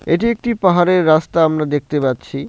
এটি একটি পাহাড়ের রাস্তা আমরা দেখতে পাচ্ছি।